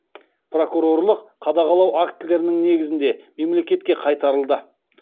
прокурорлық қадағалау актілерінің негізінде мемлекетке қайтарылды